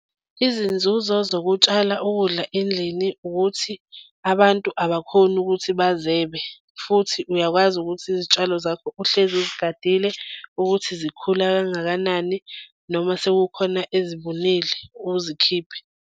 Izinzuzo zokutshala ukudla endlini, ukuthi abantu abakhoni ukuthi bazebe futhi uyakwazi ukuthi izitshalo zakho uhlezi uzigadile ukuthi zikhula kangakanani noma sekukhona ezibunile uzikhiphe.